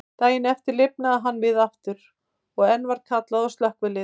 Daginn eftir lifnaði hann við aftur, og enn var kallað á slökkvilið.